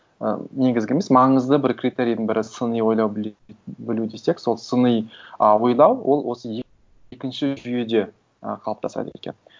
і негізгі емес маңызды бір критерийдің бірі сыни ойлау білу десек сол сыни ы ойлау ол осы екінші жүйеде ы қалыптасады екен